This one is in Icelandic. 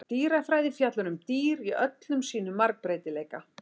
Dýrafræði fjallar um dýr í öllum sínum margbreytileika.